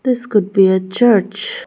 This could be a church.